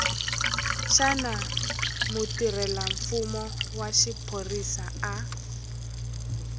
xana mutirhelamfumo wa xiphorisa a